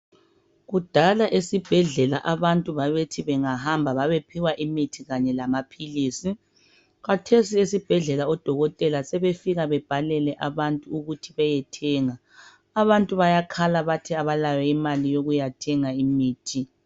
kudala esibhedlela abantu ababethi bengahamba babephiwa imithi kanye lamaphilisi khathesi esibhedlela odokotela sebefika bebhalele abantu ukuthi beyethenga abantu bayakhala bathi abalayo imali yokuyathenga imithi